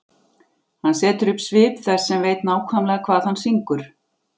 Hann setur upp svip þess sem veit nákvæmlega hvað hann syngur.